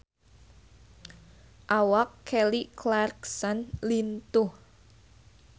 Awak Kelly Clarkson lintuh